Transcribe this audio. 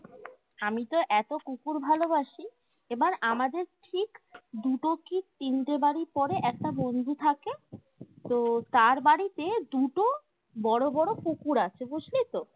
আমিতো এতো কুকুর ভালোবাসি এবার আমাদের ঠিক দুটো কি তিনটে বাড়ি পরে একটা বন্ধু থাকে তো তার বাড়িতে দুটো বড়ো বড়ো কুকুর আছে বুঝলি তো